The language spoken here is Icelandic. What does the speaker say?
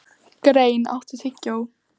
Grein, áttu tyggjó?